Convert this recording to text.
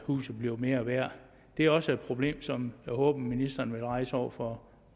huset bliver mere værd det er også et problem som jeg håber ministeren vil rejse over for